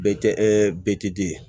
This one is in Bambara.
Bɛ kɛ be di